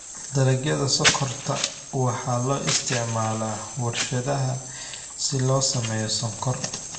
Dalagyada sonkorta waxaa loo isticmaalaa warshadaha si loo sameeyo sonkor.